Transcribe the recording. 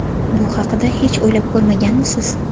Bu haqida hech o‘ylab ko‘rmaganmisiz?